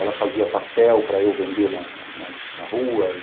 Ela fazia pastel para eu vender na rua.